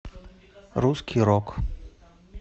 русский рок